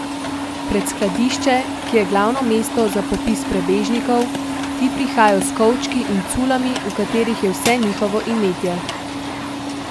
Pred skladišče, ki je glavno mesto za popis prebežnikov, ti prihajajo s kovčki in culami, v katerih je vse njihovo imetje.